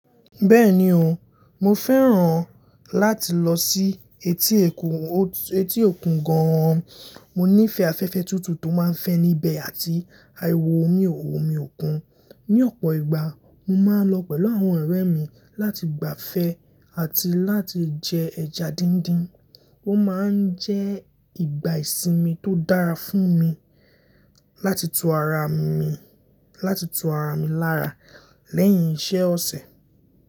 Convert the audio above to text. Bẹ́ẹ̀ni o, mo fẹ́ràn láti lọ sí etí òkun, etí òkun gan-an. Mo nífẹ̀ẹ́ afẹ́fẹ́ tútù tó máa ń fẹ́ níbẹ̀ àti ariwo omi òkun. Ni ọ̀pọ̀ ìgbà, mo máa ń lọ pẹ̀lú àwọn ọ̀rẹ́ mi láti gbafẹ́ àti láti jẹ ẹja díndín. Ó máa ń jẹ́ ìgbà ìsinmi tó dára fún mi láti tù ara mi, láti tù ara mi lára lẹ́yìn iṣẹ́ ọ̀sẹ̀.